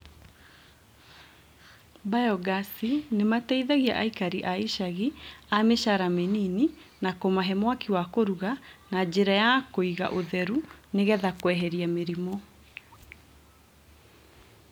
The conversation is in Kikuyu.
mbayogasi nĩmateithagĩa aikari a icaginĩ a mĩcara mĩnini na kũmahe mwaki wa kũruga na njĩra ya kũga ũtheru nĩgetha kweheria mĩrĩmũ.